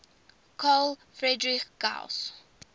carl friedrich gauss